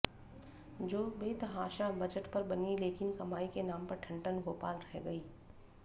जो बेतहाशा बजट पर बनी लेकिन कमाई के नाम पर ठन ठन गोपाल रह गईं